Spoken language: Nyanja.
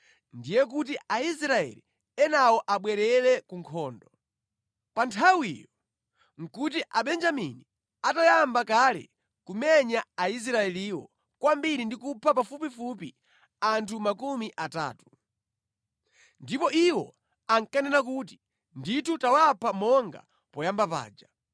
ndiye kuti Aisraeli enawo abwerere ku nkhondo. Pa nthawiyo nʼkuti Abenjamini atayamba kale kumenya Aisraeliwo kwambiri ndi kupha pafupifupi anthu makumi atatu. Ndipo iwo ankanena kuti, “Ndithu tawapha monga poyamba paja.”